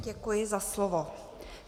Děkuji za slovo.